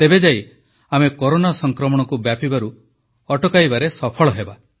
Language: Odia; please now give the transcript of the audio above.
ତେବେ ଯାଇ ଆମେ କରୋନା ସଂକ୍ରମଣକୁ ବ୍ୟାପିବାରୁ ଅଟଳାଇବାରେ ସଫଳ ହେବା